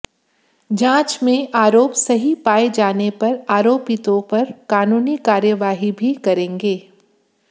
जांच में आरोप सही पाए जाने पर आरोपिंतों पर कानूनी कार्यवाही भी करेंगे